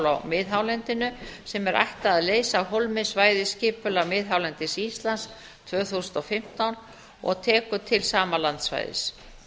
á miðhálendinu sem er ætlað að leysa af hólmi svæðisskipulag miðhálendis íslands tvö þúsund og fimmtán og tekur til sama landsvæðis